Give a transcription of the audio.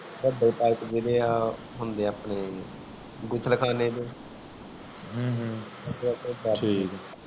ਬੜੇ pipe ਜੇਡੇ ਹੁੰਦੇ ਆ ਆਪਣੇ ਗੁਸਲ ਖਾਣੇ ਦੇ